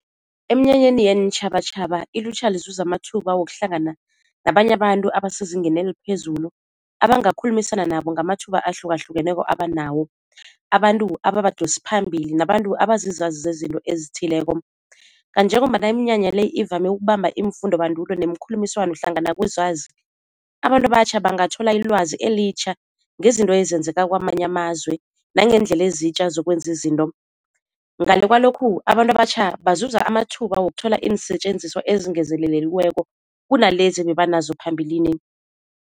Eminyanyeni yeentjhabatjhaba ilutjha lizuza amathuba wokuhlangana nabanye abantu abasezingeni eliphezulu abangakhulumisana nabo ngamathuba ahlukahlukeneko abanawo, abantu ababadosi phambili nabantu abazizazi zezinto ezithileko. Kanti njengombana iminyanya le ivame ukubamba iimfundobandulo nemikhulumiswano hlangana kwezazi, abantu abatjha bangathola ilwazi elitjha ngezinto ezenzeka kwamanye amazwe nangeendlela ezitjha zokwenza izinto. Ngale kwalokhu abantu abatjha bazuza amathuba wokuthola iinsetjenziswa ezingezeleleliweko kunalezi ebeba nazo phambilini.